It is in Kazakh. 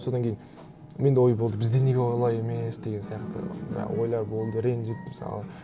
содан кейін менде ой болды бізде неге олай емес деген сияқты мына ойлар болды ренжіп мысалы